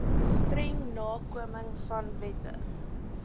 streng nakomingvan wette